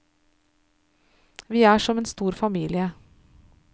Vi er som en stor familie.